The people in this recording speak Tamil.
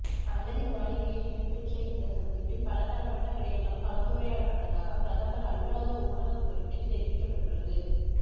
அலரி மாளிகையில் இடம்பெற்ற இந்த சந்திப்பில் பலதரப்பட்ட விடயங்கள் கலந்துரையாடப்பட்டதாக பிரதமர் அலுவலக ஊடககுறிப்பில் தெரிவிக்கப்பட்டுள்ளது